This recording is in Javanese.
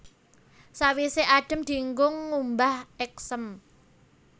Sawisé adhem dienggo ngumbah èksém